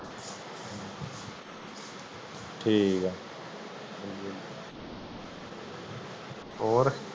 ਠੀਕ ਏ ਹਾਂਜੀ ਹਾਂਜੀ ਹੋਰ